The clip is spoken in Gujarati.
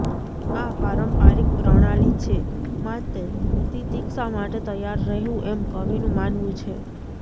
આ પારંપરિક પ્રણાલિ છે માટે તિતિક્ષા માટે તૈયાર રહેવું એમ કવિનું માનવું છે